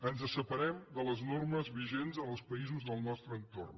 ens separem de les normes vigents en els països del nostre entorn